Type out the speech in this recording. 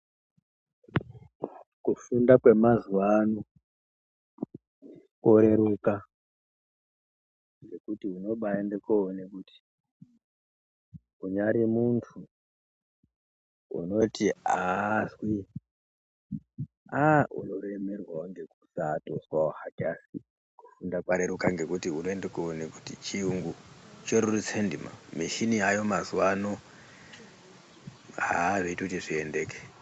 Kufunda kwemazuva ano koreruka ngekuti unobaende koona kuti kunyare muntu unoti haazwi aa unoremerwavo hake ngekusatozwavo hake. Asi kufunda kwareruka ngekuti unoende koona kuti chiyungu chorerutsa ndima michini yayo mazuva ano haa vaitoti zviendeke.